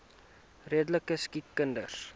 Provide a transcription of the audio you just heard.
redelike siek kinders